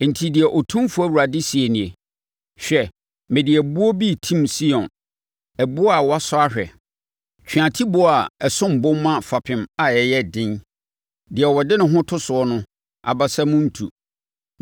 Enti, deɛ Otumfoɔ Awurade seɛ nie, “Hwɛ! Mede ɛboɔ bi retim Sion, ɛboɔ a wɔasɔ ahwɛ, tweatiboɔ a ɛsom bo ma fapem a ɛyɛ den; deɛ ɔde ne ho to soɔ no abasa mu rentu.